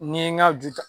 Ni n ye n ka ju ta